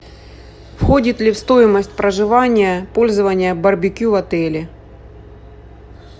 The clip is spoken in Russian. входит ли в стоимость проживания пользование барбекю в отеле